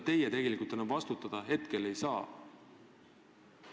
Teie ju tegelikult praegu selle eest vastutada ei saa.